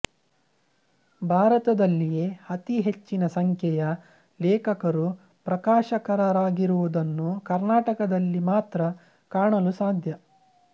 ಭಾರತದಲ್ಲಿಯೇ ಅತಿ ಹೆಚ್ಚಿನ ಸಂಖ್ಯೆಯ ಲೇಖಕರು ಪ್ರಕಾಶಕರಾಗಿರುವುದನ್ನು ಕರ್ನಾಟಕದಲ್ಲಿ ಮಾತ್ರ ಕಾಣಲು ಸಾಧ್ಯ